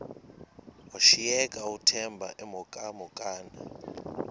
washiyeka uthemba emhokamhokana